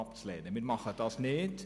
Aber wir machen das nicht.